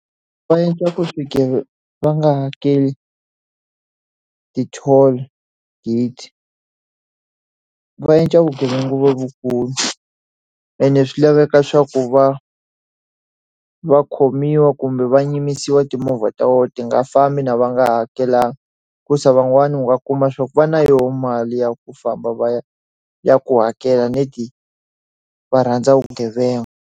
Va endla ku va nga hakeli ti-toll gate. Va endla vugevenga lebyikulu, ene swi laveka swa ku va va khomiwa kumbe va yimisiwa timovha ta vona ti nga fambi va nga hakelanga. Hikuva van'wani u nga kuma swa ku va na yona mali ya ku famba va ya ya ku hakela va rhandza vugevenga